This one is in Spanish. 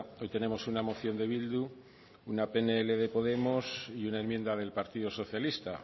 hoy tenemos una moción de bildu una pnl de podemos y una enmienda del partido socialista